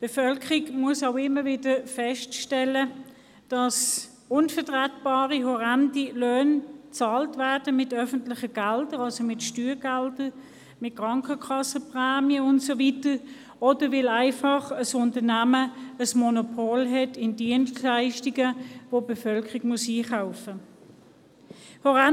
Die Bevölkerung muss immer wieder feststellen, dass unvertretbare, horrende Löhne mit öffentlichen Geldern bezahlt werden, also mit Steuergeldern, mit Krankenkassenprämien und so weiter, oder weil ein Unternehmen einfach ein Monopol auf Dienstleistungen hat, welche die Bevölkerung einkaufen muss.